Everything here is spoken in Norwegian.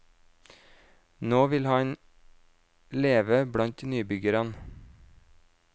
Nå vil han leve blant nybyggerne.